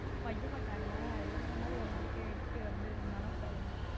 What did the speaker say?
வைய மாட்டாங்களா எருமை மாதிரி வளர்ந்து இருக்க எதுக்கு வந்து மனோ கூட விளையாண்டுக்கிட்டு இருக்கேன்னு.